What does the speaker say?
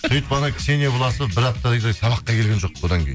сөйтіп ксения власова бір аптадай сабаққа келген жоқ одан кейін